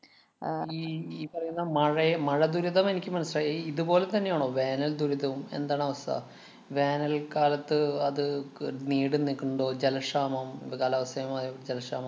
ഈ ഈ പറയുന്ന മഴയെ മഴദുരിതം എനിക്ക് മനസിലായി. ഈ ഇതുപോലെ തന്നെയാണോ വേനല്‍ ദുരിതവും. എന്താണവസ്ഥ? വേനല്‍ക്കാലത്ത് അത് ക~ നീണ്ടു നിക്കുന്നുണ്ടോ? ജലക്ഷാമം, ദാ കാലാവസ്ഥേമായ ജലക്ഷാമം